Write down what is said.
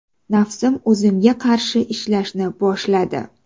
Nafsim o‘zimga qarshi ishlashni boshladi.